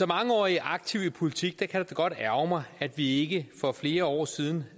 mangeårig aktiv i politik kan det da godt ærgre mig at vi ikke for flere år siden